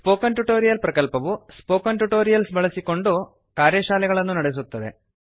spoken tutorial ಪ್ರಕಲ್ಪವು spoken tutorials ಬಳಸಿಕೊಂಡು ಕಾರ್ಯಶಾಲೆಗಳನ್ನು ನಡೆಸುತ್ತದೆ